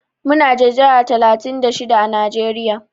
Muna da jihar talatin da shida à Najeriya.